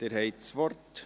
Sie haben das Wort.